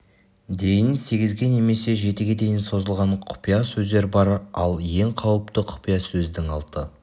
дейін сегізге немесе жетіге дейін жазылған құпия сөздер бар ал ең қауіпті құпия сөздің алты